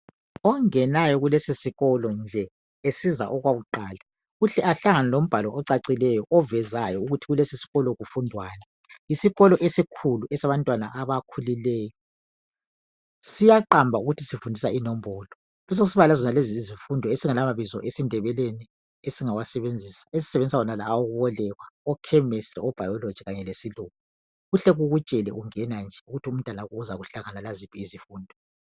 Ongenayo kulesi sikolo esiza okwakuqala uhle ahlangane lombhalo ocacileyo, ovezayo ukuthi kulesi sikolo kufundwani. Isikolo esikhulu esabantwana abakhulileyo, siyaqamba ukuthi sifundisa inombolo kubesokusiba lazonezo izifundo esingelamabizo esindebeleni esingawasebenzisa, esisebenzisa lawo wokubolekwa ochemistry obiology kanye lesilungu kuhle kukutshele ungena nje ukuthi umntanakho uzakuhlangana laziphi izifundo.